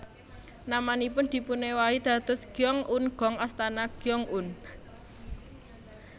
Namanipun dipunewahi dados Gyeong un gung Astana Gyeong un